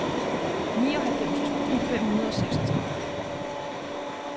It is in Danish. nioghalvfems tusind fem hundrede og seksogtredive